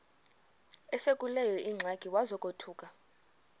esekuleyo ingxaki wazothuka